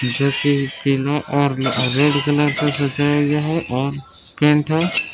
Red colour से सजाया गया है और केंट है।